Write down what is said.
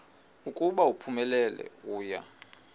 ukuba uphumelele uya